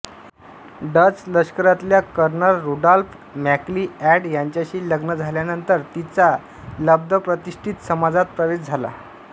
Dutch लष्करातल्या colonel Rudolf MacLeod यांच्याशी लग्न झाल्यानंतर तिचा लब्धप्रतिष्ठित समाजात प्रवेश झाला